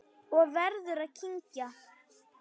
Og verður að kyngja.